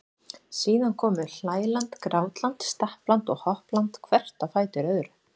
Síðan komu hlæland, grátland, stappland og hoppland hvert á fætur öðru.